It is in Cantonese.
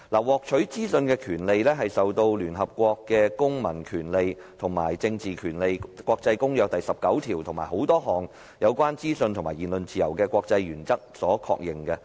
獲取資訊的權利受聯合國《公民權利和政治權利國際公約》第十九條及眾多有關資訊及言論自由的國際原則所確認。